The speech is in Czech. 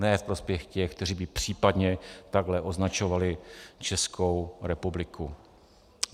Ne v prospěch těch, kteří by případně takto označovali Českou republiku.